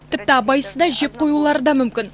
тіпті абайсызда жеп қоюлары да мүмкін